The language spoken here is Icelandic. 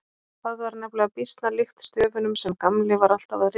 Það var nefnilega býsna líkt stöfunum sem Gamli var alltaf að rita.